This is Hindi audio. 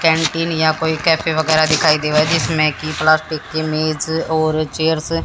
कैंटीन या कोई कैफे वगैरह दिखाई देवे जिसमें कि प्लास्टिक की मेज और चेयर्स --